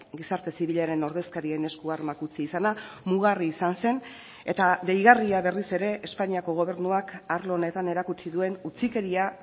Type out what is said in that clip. gizarte zibilaren ordezkarien esku armak utzi izana mugarri izan zen eta deigarria berriz ere espainiako gobernuak arlo honetan erakutsi duen utzikeria